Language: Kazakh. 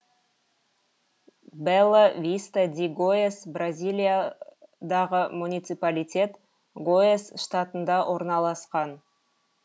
бела виста ди гояс бразилиядағы муниципалитет гояс штатында орналасқан